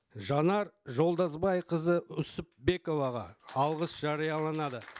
жанар жолдасбайқызы үсіпбековаға алғыс жарияланады